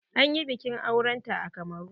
An yi biƙin auren ta a Kamaru.